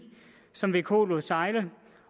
som vko lod sejle